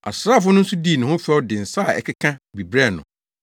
Asraafo no nso dii ne ho fɛw de nsa a ɛkeka bi brɛɛ no